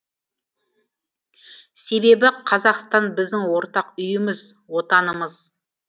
себебі қазақстан біздің ортақ үйіміз отанымыз